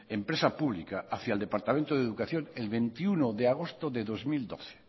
empresa pública hacia el departamento de educación el veintiuno de agosto de dos mil doce